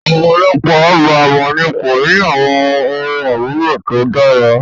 Ọ̀pọ̀lọpọ̀ ọgbà èwọ̀n ni kò ní àwọn ohun àmúlò tó dára